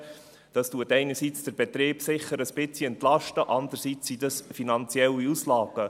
Einerseits entlastet dies den Betrieb sicher ein wenig, andererseits sind dies finanzielle Auslagen.